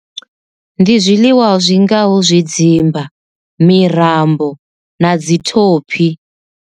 Ndi zwiḽiwa zwingaho zwidzimba, mirirambo na dzi thophi.